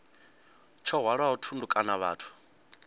tsho hwalaho thundu kana vhathu